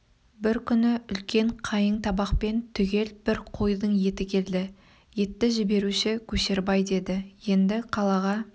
бір күні үлкен қайың табақпен түгел бір қойдың еті келді етті жіберуші көшербай деді енді қалаға